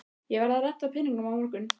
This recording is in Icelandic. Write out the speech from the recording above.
Ég verð að redda peningum á morgun.